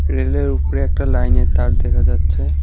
রেলের উপরে একটা লাইনের তার দেখা যাচ্ছে।